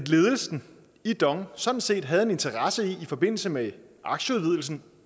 ledelsen i dong sådan set havde en interesse i i forbindelse med aktieudvidelsen